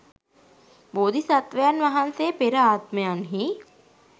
බෝධි සත්ත්වයන් වහන්සේ පෙර ආත්මයන්හි